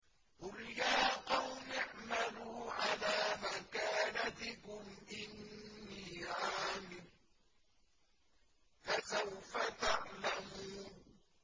قُلْ يَا قَوْمِ اعْمَلُوا عَلَىٰ مَكَانَتِكُمْ إِنِّي عَامِلٌ ۖ فَسَوْفَ تَعْلَمُونَ